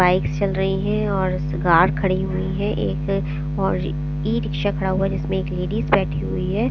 Bike चल रही है और कार खड़ी हुई है एक और ई-रिक्शा खड़ा हुआ है जिसमें एक लेडीज बैठी हुई है।